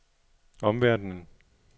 omverdenen